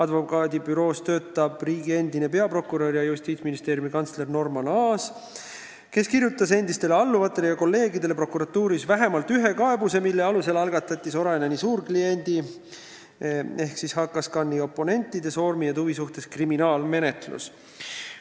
Selles büroos töötab endine riigi peaprokurör ja Justiitsministeeriumi kantsler Norman Aas, kes kirjutas oma endistele alluvatele ja kolleegidele prokuratuuris vähemalt ühe kaebuse, mille alusel algatati Soraineni suurkliendi ehk HKScani oponentide Soormi ja Tuvi suhtes kriminaalmenetlus.